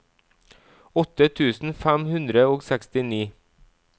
åtte tusen fem hundre og sekstini